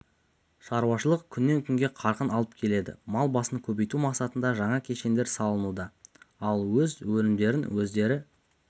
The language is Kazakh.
шаруашылық күннен-күнге қарқын алып келеді мал басын көбейту мақсатында жаңа кешендер салынуда ал өз өнімдерін өздері